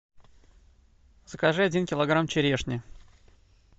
закажи один килограмм черешни